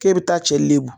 K'e bɛ taa cɛ le bo